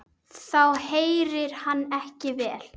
Þá heyrir hann ekki vel.